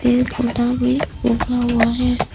एक ओटा भी उठा हुआ है।